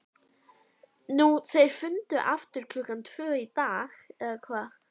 Nú þeir funduðu aftur klukkan tvö í dag, eða hvað?